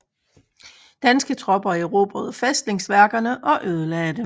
Danske tropper erobrede fæstningsværkerne og ødelagde dem